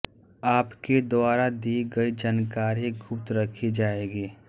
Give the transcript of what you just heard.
आपके द्वारा दी गई जानकारी गुप्त रखी जायेगी